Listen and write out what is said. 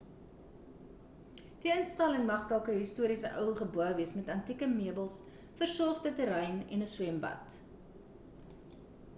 die instelling mag dalk 'n historiese ou gebou wees met antieke meubels versorgde terrein en 'n swembad